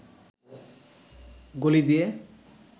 গলি দিয়ে